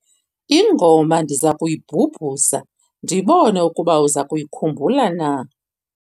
ingoma ndiza kuyibhubhuza ndibone ukuba uza kuyikhumbula na